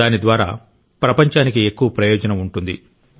దాని ద్వారా ప్రపంచానికి ఎక్కువ ప్రయోజనం ఉంటుంది